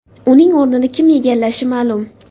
Uning o‘rnini kim egallashi ma’lum.